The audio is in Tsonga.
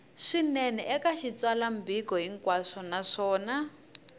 swinene eka xitsalwambiko hinkwaxo naswona